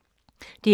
DR K